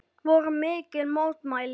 Voru mikil mótmæli?